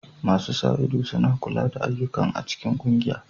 Masu sa ido suna kula da ayyukan a cikin ƙungiya.